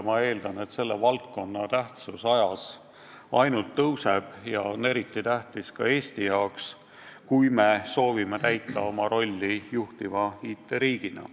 Ma eeldan, et selle valdkonna tähtsus ajas ainult kasvab ja on eriti tähtis ka Eesti jaoks, kui me soovime täita oma rolli juhtiva IT-riigina.